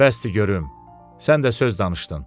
Bəsdi görüm, sən də söz danışdın.